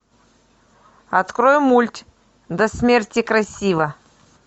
открой мульт до смерти красива